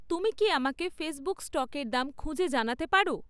তুমি কি আমাকে ফেসবুক স্টকের দাম খুঁজে জানাতে পারো?